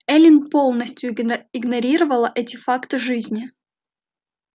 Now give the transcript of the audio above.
эллин полностью игнорировала эти факты жизни